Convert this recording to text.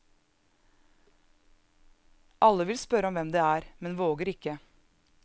Alle vil spørre om hvem det er, men våger ikke.